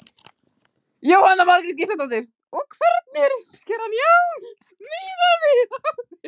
Jóhanna Margrét Gísladóttir: Og hvernig er uppskeran í ár miðað við áður?